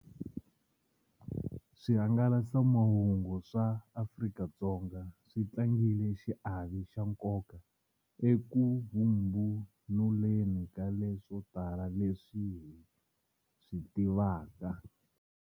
Swihangalasamahungu swa Afrika-Dzonga swi tlangile xiave xa nkoka eku vhumbunuleni ka leswo tala leswi hi swi tivaka.